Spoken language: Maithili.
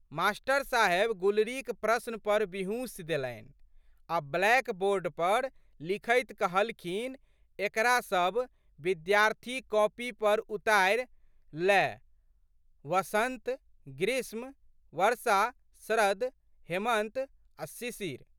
मास्टर साहेब गुलरीक प्रश्न पर बिहुँसि देलनि आ' ब्लैक बोर्ड पर लिखैत कहलखिन एकरा सब विद्यार्थी कॉपी पर उतारि लएहवसंत, ग्रीष्म,,वर्षा, शरद, हेमन्त, शिशिर।